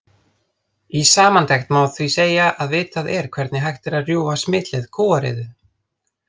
Í samantekt má því segja að vitað er hvernig hægt er að rjúfa smitleið kúariðu.